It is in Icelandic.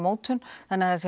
þannig